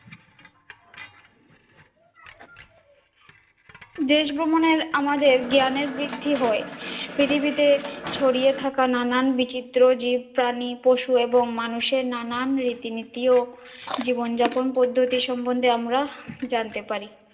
দেশ ভ্রমণে আমাদের জ্ঞানের বৃদ্ধি হয়, পৃথিবীতে ছড়িয়ে থাকা নানান বিচিত্র জীব প্রাণী পশু, এবং মানুষের নানান রীতিনীতি ও জীবনযাপন পদ্ধতি সম্পর্কে আমরা জানতে পারি।